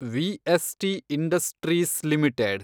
VST industries limited